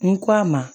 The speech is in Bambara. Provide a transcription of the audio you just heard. N k'a ma